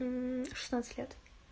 шестнадцать лет